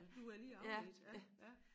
Nu blev jeg lige afledt ja ja